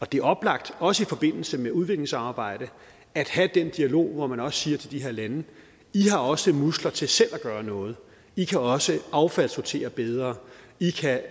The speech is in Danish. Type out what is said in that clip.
det er oplagt også i forbindelse med udviklingsarbejde at have den dialog hvor man også siger til de her lande i har også muskler til selv at gøre noget i kan også affaldssortere bedre i kan